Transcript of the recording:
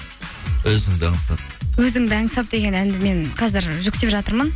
өзіңді аңсап өзіңді аңсап деген әнді мен қазір жүктеп жатырмын